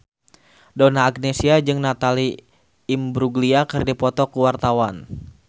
Donna Agnesia jeung Natalie Imbruglia keur dipoto ku wartawan